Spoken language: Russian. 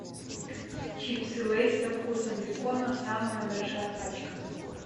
чипсы лейс со вкусом бекона самая большая пачка